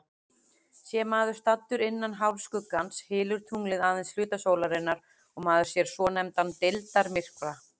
Sé maður staddur innan hálfskuggans, hylur tunglið aðeins hluta sólarinnar og maður sér svonefndan deildarmyrkva.